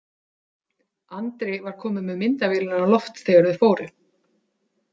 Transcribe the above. Andri var kominn með myndavélina á loft þegar þau fóru.